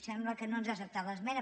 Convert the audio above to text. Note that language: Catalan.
sembla que no ens ha acceptat l’esmena